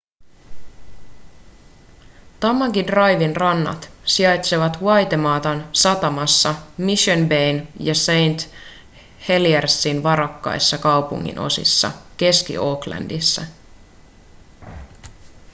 tamaki driven rannat sijaitsevat waitematan satamassa mission bayn ja st heliersin varakkaissa kaupunginosissa keski-aucklandissa